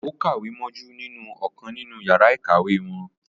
Ó kàwé mójú nínú ọ̀kan nínú yàrá ìkàwé wọn